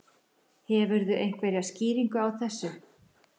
Hefurðu einhverja skýringu á þessu?